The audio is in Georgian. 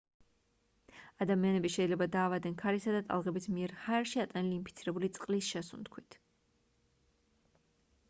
ადამიანები შეიძლება დაავადდნენ ქარისა და ტალღების მიერ ჰაერში ატანილი ინფიცირებული წყლის შესუნთქვით